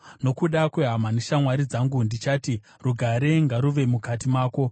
Nokuda kwehama neshamwari dzangu, ndichati, “Rugare ngaruve mukati mako.”